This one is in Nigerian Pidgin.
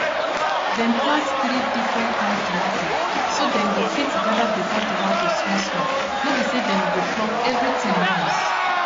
dem plant three different kain tomato so dem go fit gather better tomato small small no be say dem go pluck everything once